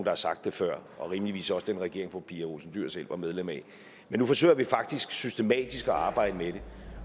har sagt det før rimeligvis også den regering fru pia olsen dyhr selv var medlem af men nu forsøger vi faktisk systematisk at arbejde med det